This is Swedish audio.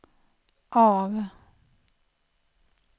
av